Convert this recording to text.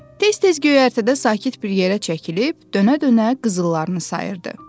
Tez-tez göyərtədə sakit bir yerə çəkilib, dönə-dönə qızıllarını sayırdı.